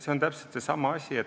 See on täpselt seesama asi.